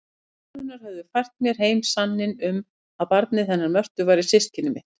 Orð konunnar höfðu fært mér heim sanninn um að barnið hennar Mörtu væri systkini mitt.